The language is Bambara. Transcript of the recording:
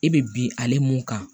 E be bin ale mun kan